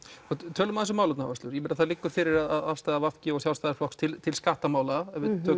tölum aðeins um málefnaáherslur það liggur fyrir afstaða v g og Sjálfstæðisflokks til til skattamála